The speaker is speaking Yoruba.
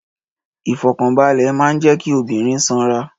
Ìfọ̀kànbalẹ̀ máa ń jẹ kí obìnrin ṣanra